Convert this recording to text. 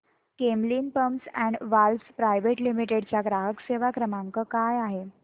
Camlin pumps and valves private limited चा ग्राहक सेवा क्रमांक काय आहे